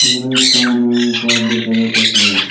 এখানে একতা মানে ঘর দেখা যাইতেসে।